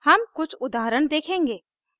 हम कुछ उदाहरण देखेंगे